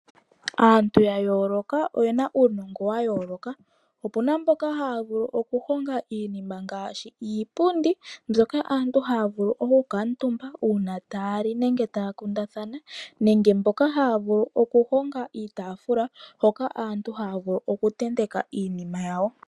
Aantu ya yooloka oyena uunongo wa yooloka opuna mboka haya vulu oku honga iinima ngaashi iipundi mbyoka aantu haya vulu oku kuutumba uuna taya li nenge taya kundathana nenge mboka haya vulu oku honga iitaafula hoka aantu haya vulu oku tenteka iinima yawo.